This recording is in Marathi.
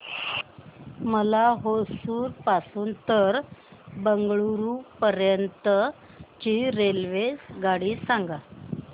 मला होसुर पासून तर बंगळुरू पर्यंत ची रेल्वेगाडी सांगा